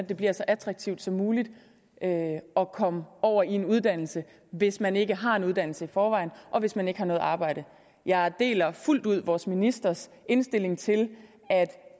det bliver så attraktivt som muligt at komme over i en uddannelse hvis man ikke har en uddannelse i forvejen og hvis man ikke har noget arbejde jeg deler fuldt ud vores ministers indstilling til at